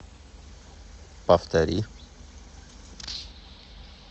повтори